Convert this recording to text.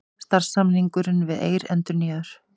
Samstarfssamningur við Eir endurnýjaður